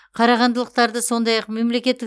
қарағандылықтарды сондай ақ мемлекеттік